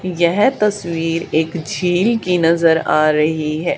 यह तस्वीर एक झील की नजर आ रहीं हैं।